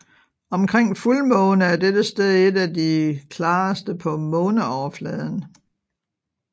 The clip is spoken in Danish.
Omkring fuldmåne er dette sted et af de klareste på måneoverfladen